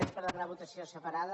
és per demanar votació separada